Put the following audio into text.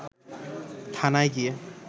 থানায় গিয়ে